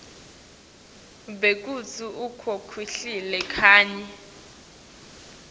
bekutsi ukhokhile kanye